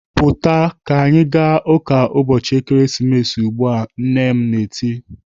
"Pụta ka anyị ga ụka ụbọchị Ekeresimesi ugbu a!" Nne m tirii.